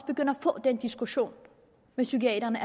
begynde at få den diskussion med psykiaterne